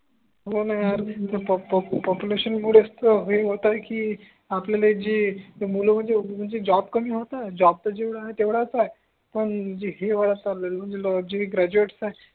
हो णा यार म्हणजे पॉप्युलेशन मूळेच तर हे होत आहे की आपल्याला जे मूल म्हणजे जॉब तर कमी होत आहे जॉब तर जेवडा आहे तेवडाच आहे पण हे वाया चालय म्हणजे जे ग्रॅजुएट आहे